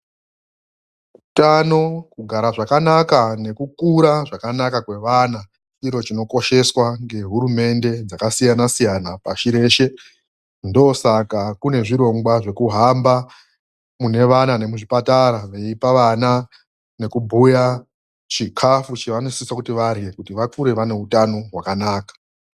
Utano kugara zvakanaka nekukura zvakanaka kwevana chiro chinokosheswa ngehurumende dzakasiyanasiyana pashi reshe, ndosaka kune zvirongwa zvekuhamba munevana nemuzvipatara veipa vana nekubhuya chikafu chavanosisa kuti varhe kuti vakure vaneutano hwakanaka.